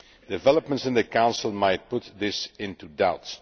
Developments in the Council might put this in doubt.